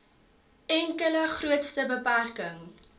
enkele grootste beperking